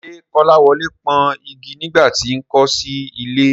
Ṣé Kọ́láwọlé pọ́n igi nígbà tí n kò sí nílé?